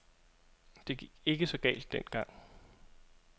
Det gik ikke så galt dengang.